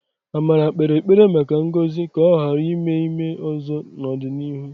Amara kpere ekpere maka ngọzi ka ọ ghara ime ime ọzọ n'ọdịnihu.